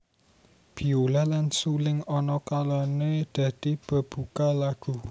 Biola lan suling ana kalané dadi bebuka lagu